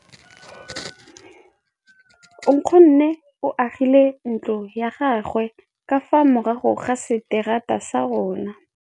Nkgonne o agile ntlo ya gagwe ka fa morago ga seterata sa rona.